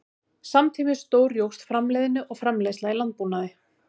Samtímis stórjókst framleiðni og framleiðsla í landbúnaði.